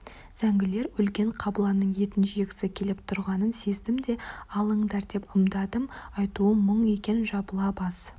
зәңгілер өлген қабыланның етін жегісі келіп тұрғанын сездім де алыңдар деп ымдадым айтуым мұң екен жабыла бас